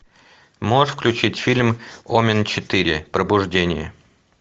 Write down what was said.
можешь включить фильм омен четыре пробуждение